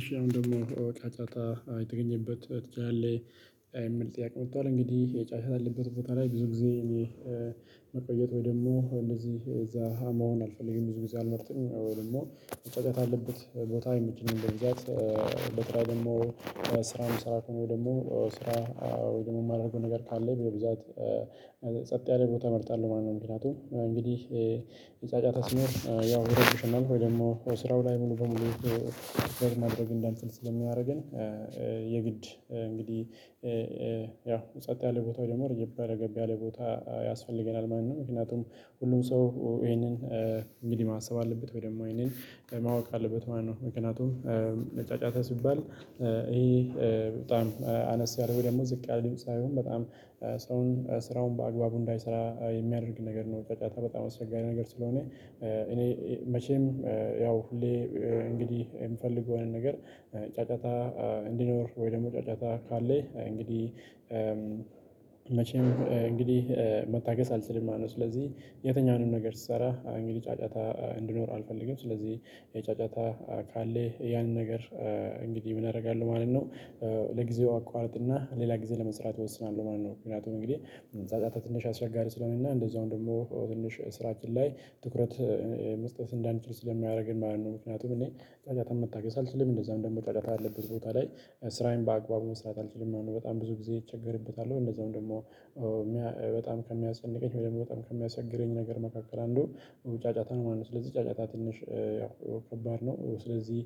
እሺ አሁን ደግሞ ጫጫታ የተገኘበት ትችላለህ የምል ጥያቄ መጥቷል እንግዲህ የጫጫታ አለበት ቦታ ላይ ብዙ ጊዜ እኔ መቆየት ወይ ደግሞ እነዚህ እዛ መሆን አልፈልግም ብዙ ጊዜ አልመርጥም ወይ ደግሞ ጫጫታ አለበት ቦታ አይመቸኝም በብዛት በተለይ ደግሞ ስራ መስራት ወይ ደግሞ ስራ ወይም የማደርገው ነገር ካለ በብዛት ጸጥ ያለ ቦታ እመርጣለሁ ማለት ነው። ምክንያቱም እንግዲህ ጫጫታ ሲኖር ያው ወደ እሱ እናድርግ ወይ ስራው ላይ ሙሉ በሙሉ ማድረግ እንዳልችል ስለሚያደርገን የግድ እንግዲህ ያው ጸጥ ያለ ቦታው ደግሞ ረገብ ያ ቦታ ያስፈልገናል። ማንንም ምክንያቱም ሁሉም ሰው ይሄንን እንግዲህ ማሰብ አለበት ወይ ደግሞ ይሄንን ማወቅ አለበት ማነው ምክንያቱም ለጫጫታ ሲባል ይሄ በጣም አነስ ያለ ወይ ደግሞ ዝቅ ያለ ሳይሆን በጣም ሰውን ስራውን በአግባቡ እንዳይሰራ የሚያደርግ ነገር ነው። ጫጫታ በጣም አስቸጋሪ ነገር ስለሆነ እኔ መቼም ያው ሁሌ እንግዲህ የምፈልገውን ነገር ጫጫታ እንዲኖር ወይ ደግሞ ጫጫታ ካለ እንግዲህ መቼም እንግዲህ መታገስ አልችልም ማለት ነው። ስለዚህ የትኛውንም ነገር ስሰራ እንግዲህ ጫጫታ እንድኖር አልፈልግም ስለዚህ የጫጫታ ካለ ያንን ነገር እንግዲህ ምን አደርጋለሁ ማለት ነው ለጊዜው አቋርጥና ሌላ ጊዜ ለመስራት እወስናለሁ ማለት ነው። ምክንያቱም እንግዲህ ጯጯታ ትንሽ አስቸጋሪ ስለሆነ እና እንደዛውም ደግሞ ትንሽ ስራችን ላይ ትኩረት መስጠት እንዳንችል ስለሚያደርግን ማለት ነው። ምክንያቱም እኔ ጫጫታ መታገስ አልችልም እንደዛም ደግሞ ጫጫታ አለበት ቦታ ላይ ስራዬን በአግባቡ መስራት አልችልም ማለት ነው። በጣም ብዙ ጊዜ እቸገርበታለሁ ወይ እንደዛውም ደግሞ በጣም ከሚያሰጨንቀኝ በደንብ በጣም ከሚያቸግረኝ ነገር መካከል አንዱ ጫጫታ ነው ማለት ነው። ስለዚህ ጫጫታ ትንሽ ያው ከባድ ነው ስለዚህ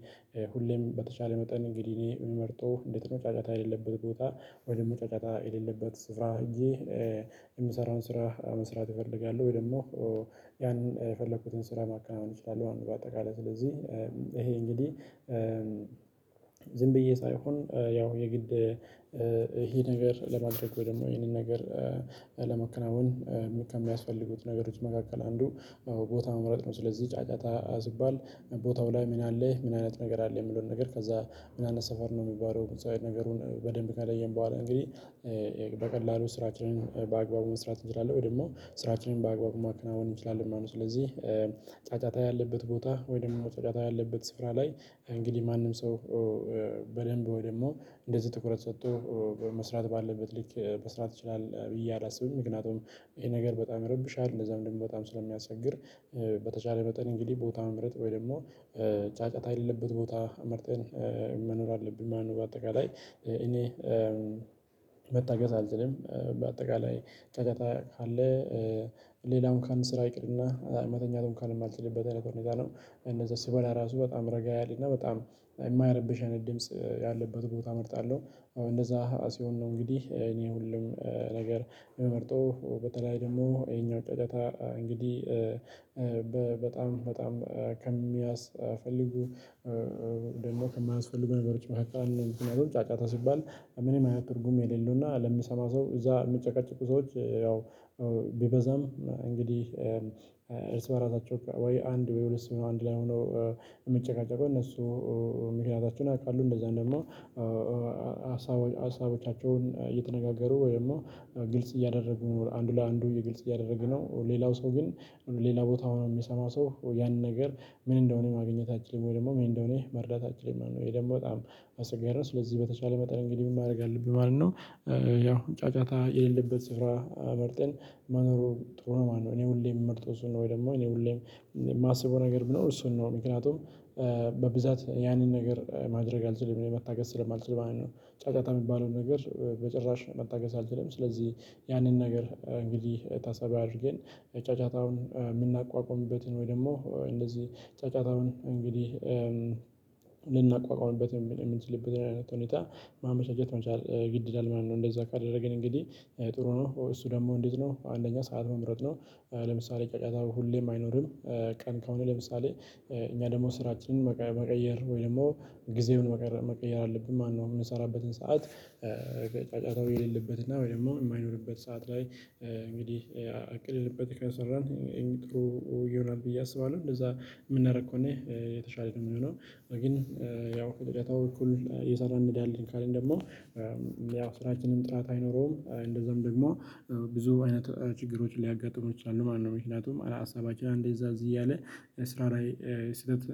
ሁሌም በተቻለ መጠን እንግዲህ እኔ የምመርጠው እንዴት ነው? ጫጫታ የሌለበት ቦታ ወይ ደግሞ ጫጫታ የሌለበት ስፍራ ህጄ የምሰራውን ስራ መስራት እፈልጋለው። ወይ ደግሞ ያንን የፈለኩትን ስራ ማካም አልችልም አንድ በአጠቃላይ ስለዚህ ይሄ እንግዲህ ዝም ብዬ ሳይሆን ያው የግድ ነገር ለማድረግ ደግሞ ይሄንን ነገር ለመከናወን ከሚያስፈልጉት ነገሮች መካከል አንዱ ቦታ መምረጥ ነው። ስለዚህ ጫጫታ ሲባል ቦታው ላይ ምን አለ ምን አይነት ነገር አለ የሚለውን ነገር ከዛ ምን አይነት ሰፈር ነው የሚባለው ሰው የነገሩን በደንብ ከለየን በኋላ እንግዲህ በቀላሉ ስራችንን በአግባቡ መስራት እንችላለን ወይ ደግሞ ስራችንን በአግባቡ ማከናወን እንችላለን ማለት ነው። ስለዚህ ጫጫታ ያለበት ቦታ ወይም ደግሞ መጥቃት ያለበት ስፍራ ላይ እንግዲህ ማንም ሰው በደንብ ወይም ደግሞ እንደዚህ ጥኩረት ሰጥቶ መስራት ባለበት ልክ መስራት ይችላል ብዬ አላስብም ምክንያቱም ይሄ ነገር በጣም ይረብሻል እንደዛም ደግሞ በጣም ስለሚያስችል ያው በተቻለ መጠን እንግዲህ ቦታ መምረጥ ወይ ደግሞ ጫጫታ የሌለበት ቦታ መርጠን መኖር አለብን ማለት ነው። በአጠቃላይ እኔ መታገስ አልችልም በአጠቃላይ ጫጫታ ካለ ሌላውም እንኳን ስራ ይቅርና መተኛትም የማልችልበት አይነት ሁኔታ ነው እነዛ ሲበላ ራሱ በጣም ረጋ ያለ እና በጣም የማይረበሽ አይነት ድምጽ ያለበት ቦታ እመርጣለሁ። እንደዛ ራሴን ነው እንግዲህ እኔ ሁሉም ነገር መርጦ በተለይ ደግሞ ይሄኛው ጫጫታ እንግዲህ በጣም በጣም ከሚያስፈልጉ ደግሞ ከማያስፈልጉ ነገሮች በቃል እንደውም ጫጫታ ሲባል እኔም አይነት ትርጉም የሌለው እና ለምሰማ ሰው እዛ የምጨቃጭቁ ሰዎች ያው ቢበዛም እንግዲህ እርስ በራሳቸው ወይ አንድ ወይ ሁለት ሰው ነው አንድ ላይ ሆኖ የምትጨቃጨቀው እነሱ ምክንያታቸውን አውቃሉ እንደዛ እንደምሆን ሀሳቦቻቸውን እየተነጋገሩ ወይ ደግሞ ግልጽ እያደረጉ ነው አንዱ ለአንዱ ግልጽ እያደረጉ ነው ሌላው ሰው ግን ሌላ ቦታ ሆኖ የሚሰማው ሰው ያንን ነገር ምን እንደሆነ ማግኘታችን ወይ ደግሞ ምን እንደሆነ መርዳታችን ማለት ነው። ወይ ደግሞ በጣም አስገራሪ ስለዚህ በተቻለ መጠን እንግዲህ ምን ማድረግ አለብኝ ማለት ነው። ያው ጫጫታ የሌለበት ስፍራ መርጠን መኖሩ ጥሩ ነው ማለት ነው። እኔ ሁሌም ምመርጠው እሱን ነው ወይ ደግሞ እኔ ሁሌም የማስበው ነገር ብኖር እሱን ነው ምክንያቱም በብዛት ያንን ነገር ማድረግ አልችልም መታገስ ስለማልችል ማለት ነው። ጫጫታ የሚባለውን ነገር በጭራሽ መታገስ አልችልም ስለዚህ ያንን ነገር እንግዲህ ታሳቢ አድርገን ጫጫታውን የምናቋቁምበትን ወይ ደግሞ እንደዚህ ጫጫታውን እንግዲህ ልናቋቁዋምበት የሚችልበት አይነት ሁኔታ ማመቻቸት መቻል ግድ ይላል ማለት ነው። እንደዛ ካደረገን እንግዲህ ጥሩ ነው። እሱ ደግሞ እንዴት ነው? አንደኛ ሰዓት መምረጥ ነው። ለምሳሌ ጫጫታ ሁሌም አይኖርም። ቀን ከሆነ ለምሳሌ እኛ ደግሞ ስራችንን መቀየር ወይም ደግሞ ጊዜውን መቀየር መቀየር አለብን። ማነው የምንሰራበትን ሰዓት ጫጫታው የሌለበት እና ወይ ደግሞ የማይኖርበት ሰዓት ላይ እንግዲህ አቅልልበት ከሰራን ይሄም ጥሩ ይሆናል። ብዬ አስባለሁ። እንደዛ የምናደርግ ከሆነ የተሻለ ደግሞ የምንሆነው ግን ያው ከጫጫታው በኩል እየሰራን እንዲያለን ካለን ደግሞ ያው ስራችንም ጥራት አይኖረውም። እንደዛም ደግሞ ብዙ አይነት ችግሮችን ሊያጋጥሙት ይችላሉ ማለት ነው። ምክንያቱም አላሳባቸው እንደዛ እዚህ እያለ ስራ ስህተት